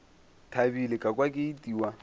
thabile ka kwa ke itiwa